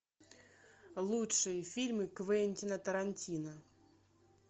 лучшие фильмы квентина тарантино